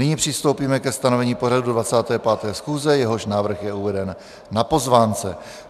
Nyní přistoupíme ke stanovení pořadu 25. schůze, jehož návrh je uveden na pozvánce.